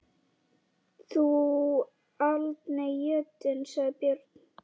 Þú aldni jötunn, sagði Björn.